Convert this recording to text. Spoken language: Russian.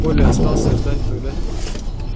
коля остался ждать когда